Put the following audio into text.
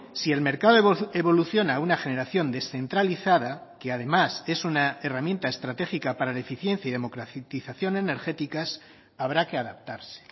si el mercado evoluciona a una generación descentralizada que además es una herramienta estratégica para la eficiencia y democratización energéticas habrá que adaptarse